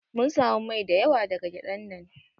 Mun samu mai da yawa daga gyadan nan.